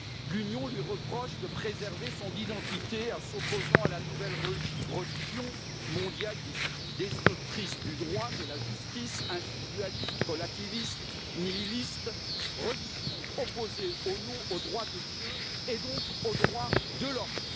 L'Union lui reproche de préserver son identité en s'opposant à la nouvelle religion mondialiste destructrice du droit, de la justice, individualiste, relativiste, nihiliste, religion opposée au droit de Dieu et donc aux droits de l'homme.